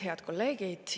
Head kolleegid!